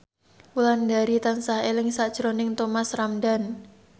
Wulandari tansah eling sakjroning Thomas Ramdhan